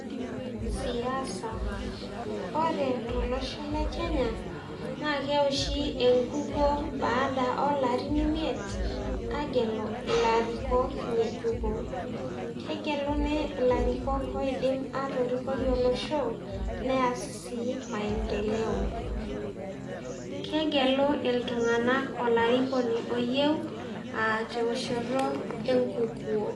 siasa, ore tolosho le Kenya naake ewoshi enkukuo baada olarin imiet aagelu ilarikok ng'ejuko. Kegeluni larikok oidim atorikoi olosho neas sii maendeleo, kegelo iltung'anak olarikoni oyieu a te woshoto e nkukuo.